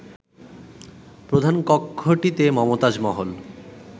প্রধান কক্ষটিতে মমতাজ মহল